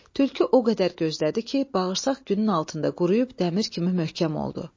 Tülkü o qədər gözlədi ki, bağırsaq günün altında quruyub dəmir kimi möhkəm oldu.